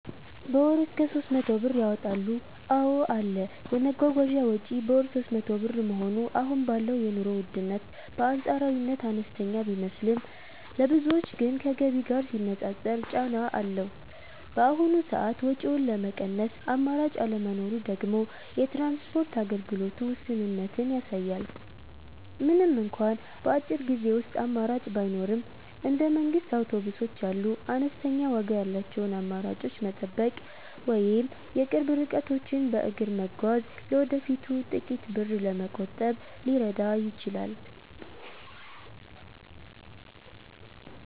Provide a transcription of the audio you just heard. በ ወር እስከ 300 ብር ያወጣሉ ,አዎ አለ, የመጓጓዣ ወጪ በወር 300 ብር መሆኑ አሁን ባለው የኑሮ ውድነት በአንፃራዊነት አነስተኛ ቢመስልም፣ ለብዙዎች ግን ከገቢ ጋር ሲነፃፀር ጫና አለው። በአሁኑ ሰዓት ወጪውን ለመቀነስ አማራጭ አለመኖሩ ደግሞ የትራንስፖርት አገልግሎቱ ውስንነትን ያሳያል። ምንም እንኳን በአጭር ጊዜ ውስጥ አማራጭ ባይኖርም፣ እንደ መንግስት አውቶቡሶች ያሉ አነስተኛ ዋጋ ያላቸውን አማራጮች መጠበቅ ወይም የቅርብ ርቀቶችን በእግር መጓዝ ለወደፊቱ ጥቂት ብር ለመቆጠብ ሊረዳ ይችላል።